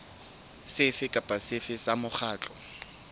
sefe kapa sefe sa mokgatlo